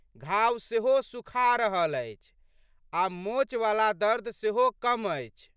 घाव सेहो सुखा रहल अछि आ' मोचवला दर्द सेहो कम अछि।